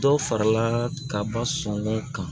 Dɔ farala ka ba sɔn ko kan